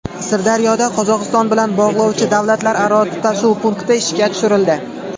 Sirdaryoda Qozog‘iston bilan bog‘lovchi davlatlararo tutashuv punkti ishga tushirildi.